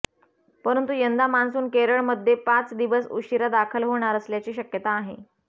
परंतु यंदा मान्सून केरळमध्ये पाच दिवस उशिरा दाखल होणार असल्याची शक्यता आहे